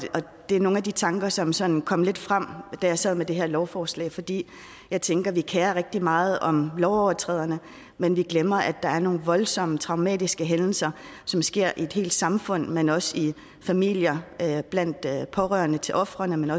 det er nogle af de tanker som sådan kom lidt frem da jeg sad med det her lovforslag fordi jeg tænker at vi kerer os rigtig meget om lovovertræderne men vi glemmer at der er nogle voldsomme traumatiske hændelser som sker i et helt samfund men også i familier blandt pårørende til ofrene men